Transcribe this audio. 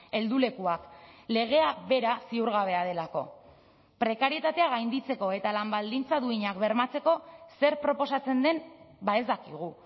heldulekuak legea bera ziurgabea delako prekarietatea gainditzeko eta lan baldintza duinak bermatzeko zer proposatzen den ez dakigu